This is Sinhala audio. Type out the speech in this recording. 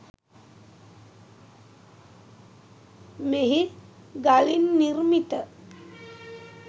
මෙහි ගලින් නිර්මිත